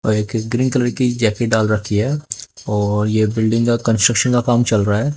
और एक green colour की जैकेट डाल रखी है और ये बिल्डिंग का कंस्ट्रक्शन का काम चल रहा है।